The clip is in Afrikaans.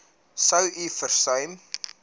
sou u versuim